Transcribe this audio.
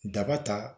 Daba ta